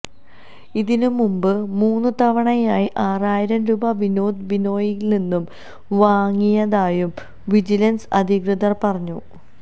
ഇതിനുമുമ്പ് മൂന്നുതവണയായി ആറായിരംരൂപ വിനോദ് ബിനോയിയിൽനിന്ന് വാങ്ങിയതായും വിജിലൻസ് അധികൃതർ പറഞ്ഞു